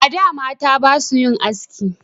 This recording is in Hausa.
A da mata basu yin haski